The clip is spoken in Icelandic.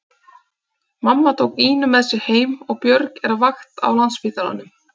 Mamma tók Ínu með sér heim og Björg er á vakt á Landspítalanum.